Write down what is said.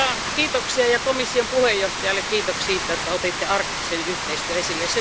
Mutta kiitoksia ja komission puheenjohtajalle kiitoksia siitä, että otitte arktisen yhteistyön esille.